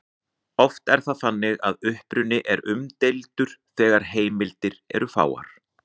Oft er það þannig að uppruni er umdeildur þegar heimildir eru fáar.